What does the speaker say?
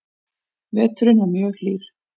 Veturinn var mjög hlýr